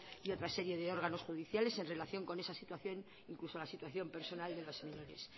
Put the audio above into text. y otras series de órganos judiciales en relación con esa situación incluso la situación personal de los menores